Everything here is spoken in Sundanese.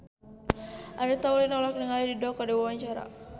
Andre Taulany olohok ningali Dido keur diwawancara